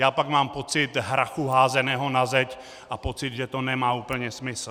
Já pak mám pocit hrachu házeného na zeď a pocit, že to nemá úplně smysl.